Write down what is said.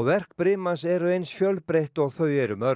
og verk eru eins fjölbreytt og þau eru mörg